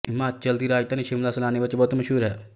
ਹਿਮਾਚਲ ਦੀ ਰਾਜਧਾਨੀ ਸ਼ਿਮਲਾ ਸੈਲਾਨੀਆਂ ਵਿਚ ਬਹੁਤ ਮਸ਼ਹੂਰ ਹੈ